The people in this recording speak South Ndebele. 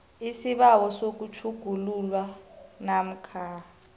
isibawo sokutjhugululwa namkha